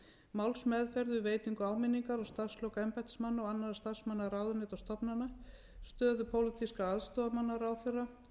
málsmeðferð við veitingu á minningar og starfslok embættismanna og annarra starfsmanna ráðuneyta og stofnana stöðu pólitískra aðstoðarmanna ráðherra